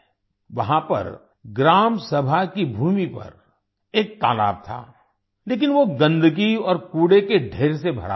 वहां पर ग्राम सभा की भूमि पर एक तालाब था लेकिन वो गंदगी और कूड़े के ढेर से भरा हुआ था